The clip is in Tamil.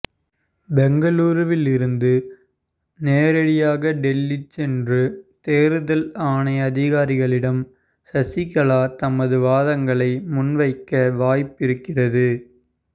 பெங்களூருவில் இருந்து நேரடியாக டெல்லி சென்று தேர்தல் ஆணைய அதிகாரிகளிடம் சசிகலா தமது வாதங்களை முன்வைக்க வாய்ப்பிருக்கிறது